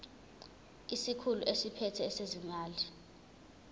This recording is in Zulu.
isikhulu esiphethe ezezimali